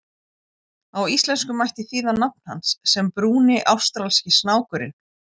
Á íslensku mætti þýða nafn hans sem Brúni ástralski snákurinn.